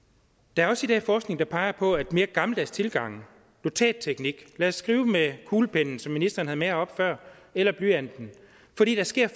der er også i dag forskning der peger på at mere gammeldags tilgange notatteknik lad os skrive med kuglepennen som ministeren havde med herop før eller blyanten